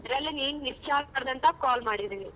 ಅದರಲ್ಲೇ ನಿನ್ miss ಆಗಬಾರದು ಅಂತ call ಮಾಡಿದೀನಿ.